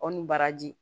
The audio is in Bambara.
Aw ni baraji